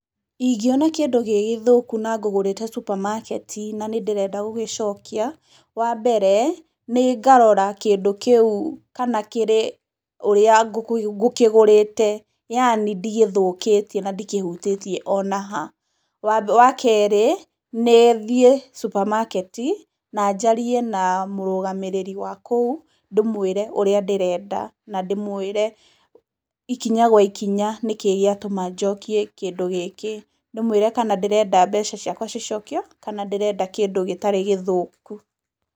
Ingĩona kĩndũ gĩgĩthũku na ngũgũrĩte supamaketi na nĩ ndĩrenda gũgĩciokia, wa mbere, nĩ ngarora kĩndũ kĩu kana kĩrĩ ũrĩa ngũkĩgũrĩte yaani ndigĩthũkĩtie na ndikĩhutĩtie ona ha. Wa kerĩ, nĩ thiĩ supamaketi na njarie na mũrũgamĩrĩri wa kũu ndĩmwĩre ũrĩa ndĩrenda na ndĩmwĩre ikinya gwa ikinya nĩkĩ gĩa tũma njikie kĩndũ gĩkĩ, ndĩmwĩre kana ndĩrenda mbeca cicikio kana ndĩrenda kĩndũ gĩtarĩ gĩthũku.